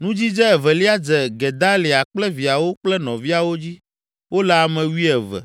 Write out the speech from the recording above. Nudzidze evelia dze Gedalia kple viawo kple nɔviawo dzi; wole ame wuieve.